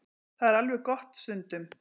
Það er alveg gott stundum.